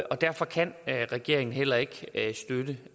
derfor kan regeringen heller ikke støtte